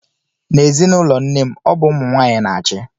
N'ezinụlọ nne m, ọ bụ ụmụ nwaanyị na-achị.